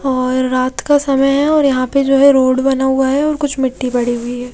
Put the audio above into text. और रात का समय है और यहां पे जो है रोड बना हुआ है और कुछ मिट्टी पड़ी हुई है।